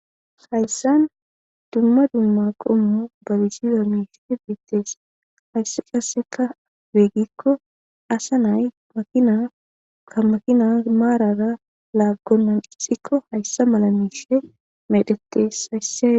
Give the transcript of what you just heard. Hayssan dumma dumma qommu balisiza miishii biittees haysse qasseka beggikko asa nay makina ka makina maarara laaggonnan ixikko hayssa mala miishe medhetes haysse.